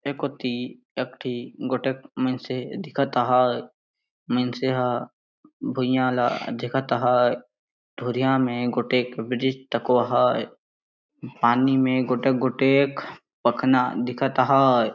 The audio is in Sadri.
एकोती एकठी गोटेक मीनसे दिखत अहाए मीनस ह भुईयाँ ला देखत आहे धुरियाँ में गोटेक ब्रिज तकों है पानी में गोटेक-गोटेक पखना दिखत है।